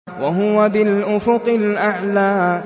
وَهُوَ بِالْأُفُقِ الْأَعْلَىٰ